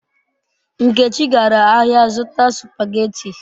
Nkechi gara ahia zuta supageti